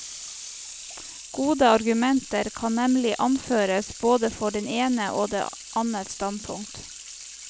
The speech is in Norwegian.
Gode argumenter kan nemlig anføres både for det ene og det annet standpunkt.